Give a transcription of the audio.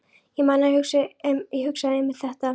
Ég man að ég hugsaði einmitt þetta.